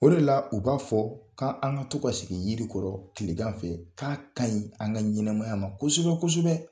O de la u b'a fɔ, k'an ka to ka sigi yirikɔrɔ tilegan fɛ, k'a kaɲi an ka ɲɛnɛmaya ma kosɛbɛ kosɛbɛ.